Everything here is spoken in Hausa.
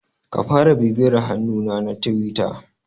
Ka fara bibiyar hannuna na Tiwita.